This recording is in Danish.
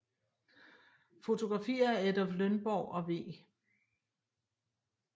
Fotografier af Adolph Lønborg og W